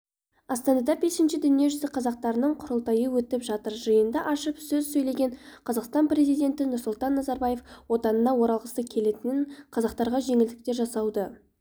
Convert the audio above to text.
астанада бесінші дүниежүзі қазақтарының құрылтайы өтіп жатыр жиынды ашып сөз сөйлеген қазақстан президенті нұрсұлтан назарбаев отанына оралғысы келетін қазақтарға жеңілдіктер жасауды